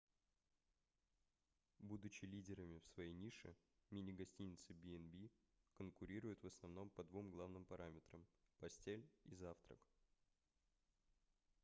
будучи лидерами в своей нише мини-гостиницы b&b конкурируют в основном по двум главным параметрам постель и завтрак